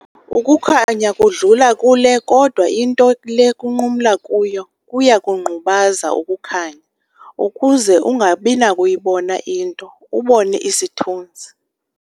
Ukukhanya kudlula kule kodwa into le kunqumla kuyo kuyakungqubaza ukukhanya ukuze ungabinakuyibona into, ubone isithunzi.